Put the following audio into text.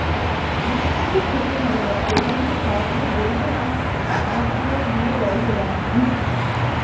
আমি কিন্তু খুব খেতে ভালবাসি যে তুমি খাবারগুলো বলছো না, আমার পুরো জিভে জল চলে আসছে